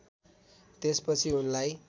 त्यसपछि उनलाई